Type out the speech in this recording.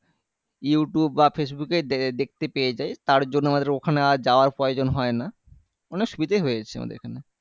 YouTube বা ফেসবুকে দে দে দেখতে পেয়ে যাই তার জন্য আমাদের আর ওখানে আর যাওয়ার প্রয়োজন হয়না অনেক সুবিধাই হয়েছে আমাদের এখানে